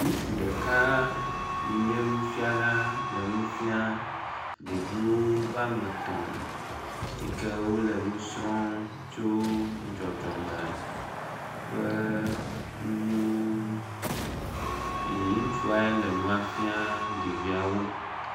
Ŋutsu ɖeka yi nye nufiala le nu fiam ɖeviwo be wame etɔ̃ yi ke wole nu srɔ̃m tso dzɔdzɔme ƒe nuwo ŋu ye ŋutsuae le nua fiam ɖeviawo.